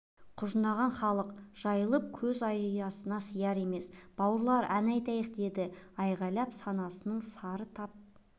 құжынаған халық жайылып көз аясына сияр емес бауырлар ән айтайық деді айғайлап санасының сары тап